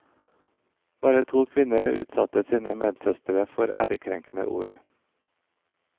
Bare to kvinner utsatte sine medsøstre for ærekrenkende ord.